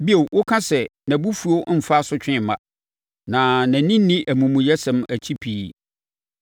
Bio, woka sɛ nʼabufuo mmfa asotweɛ mma na nʼani nni amumuyɛsɛm akyi pii.